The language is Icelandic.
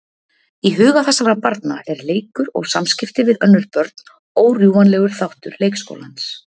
Í huga þessara barna er leikur og samskipti við önnur börn órjúfanlegur þáttur leikskólans.